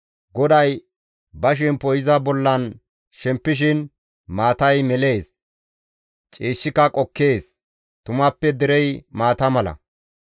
GODAY ba shempo iza bollan shempishin maatay melees; ciishshika qokkees; tumappe derey maata mala.